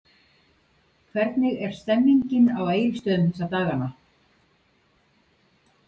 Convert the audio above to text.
Hvernig er stemningin á Egilsstöðum þessa dagana?